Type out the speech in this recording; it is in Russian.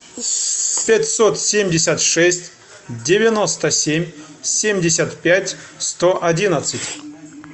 пятьсот семьдесят шесть девяносто семь семьдесят пять сто одиннадцать